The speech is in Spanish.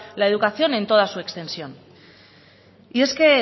la educación en toda su extensión y es que